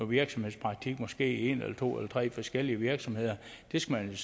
virksomhedspraktik måske i en eller to eller tre forskellige virksomheder skal